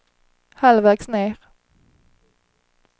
halvvägs ned